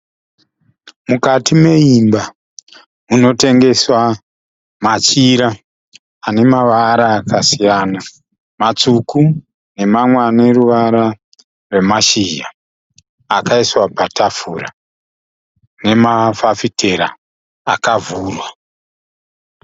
Mukati meimba munotengeswa machira ane mavara akasiyana, matsvuku nemamwe aneruvara rwemashizha akaiswa patafura nemafafitera akavhurwa.